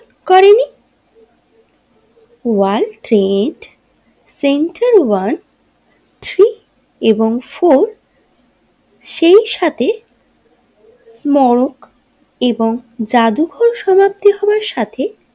World Trade Center one six এবং four সেই সাথে মর্গ এবং জাদুঘর সমাপ্তি হবার সাথে।